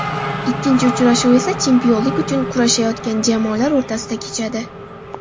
Ikkinchi uchrashuv esa chempionlik uchun kurashayotgan jamoalar o‘rtasida kechadi.